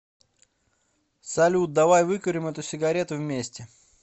салют давай выкурим эту сигарету вместе